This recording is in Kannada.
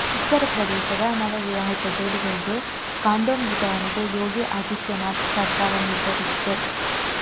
ಉತ್ತರ ಪ್ರದೇಶದ ನವವಿವಾಹಿತ ಜೋಡಿಗಳಿಗೆ ಕಾಂಡೋಮ್ ವಿತರಣೆಗೆ ಯೋಗಿ ಆದಿತ್ಯನಾಥ್ ಸರ್ಕಾರ ನಿರ್ಧರಿಸಿದೆ